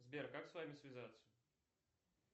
сбер как с вами связаться